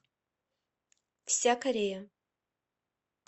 вся корея